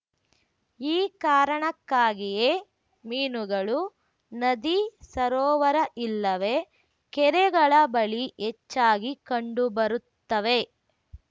ಈ ಕಾರಣಕ್ಕಾಗಿಯೇ ಮೀನುಗಳು ನದಿ ಸರೋವರ ಇಲ್ಲವೆ ಕೆರೆಗಳ ಬಳಿ ಹೆಚ್ಚಾಗಿ ಕಂಡುಬರುತ್ತವೆ